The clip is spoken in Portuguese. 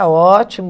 ótimo.